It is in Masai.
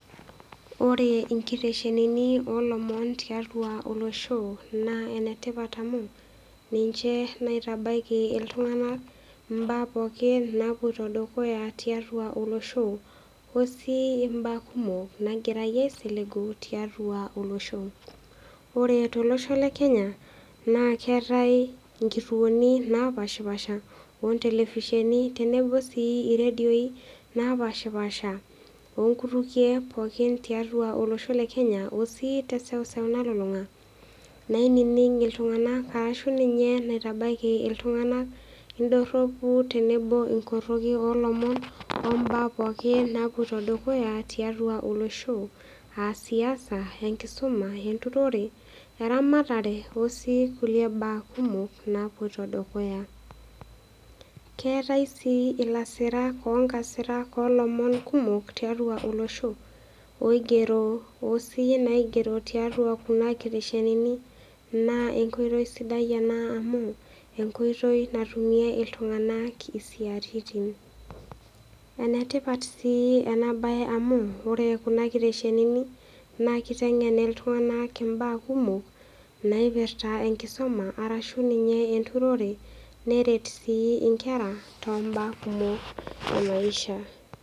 Ore nkiteshenini o lomon tiatua olosho naa enetipat amu ninche naitabaiki iltung'ana ilomon pooki nawuoita dukuya tiatua olosho o sii imbaa kumok nagirai aisiligu tiatua olosho. Ore tolosho le Kenya naa keatai inkituoni naapaashipaasha o ntelevisheni tenebo sii nkituoni naapaashipaasha o nkutukie pooki tiatua olosho le Kenya o sii teseuseu nalulung'a nainining' iltung'ana ashu ninye naitabaiki iltung'ana indoropu tenebo inkoroki o lomon o mbaa pooki nawuoita dukuya tiatua olosho, a siasa, enkisoma, enturore, eramatare o sii kulie baa kumok nawuoita dukuya. Keatai sii ilasirak o nkasirak o lomon kumok tiatua olosho oigero o siyie naigero tiatua kuna kitesheni naa enkoitoi sidai ena amu enkoitoi natumie iltung'ana isiaritin. Enetipat sii ena bae amu ore kuna kitesheni naa keiteng'en iltung'ana imbaa kumok naipirta enkisoma arashu ninye enturore neret sii inkera too mbaa kumok emaisha.